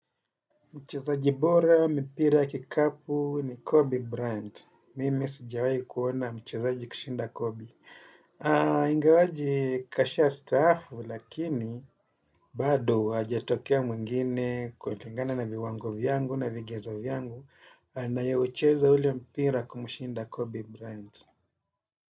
Mchezaji bora mipira ya kikapu ni Kobe Bryant. Mimi sijawai kuona mchezaji kushinda Kobe. Ingawaji kashastaafu lakini bado hajatokea mwingine kulingana na viwango vyangu na vigezo vyangu na ye hucheza ule mpira kumshinda Kobe Bryant.